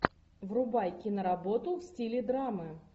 врубай киноработу в стиле драмы